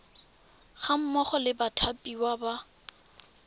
ga mmogo le bathapiwa ba